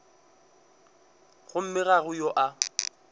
gomme ga go yo a